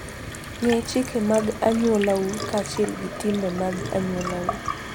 Ng'e chike mag anyuolau kaachiel gi timbe mag anyuolau.